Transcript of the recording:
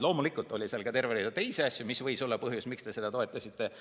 Loomulikult oli seal ka terve rida teisi asju, mis võiski olla põhjus, miks te seda toetasite.